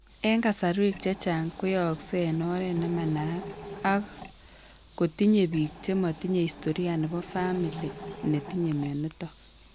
Eng' kasarwek chechang koyaaksei eng' oret nemanaat ak kotinye biik chematinye historia nebo family netinye mionitok